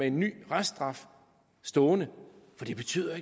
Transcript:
en ny reststraf stående for det betyder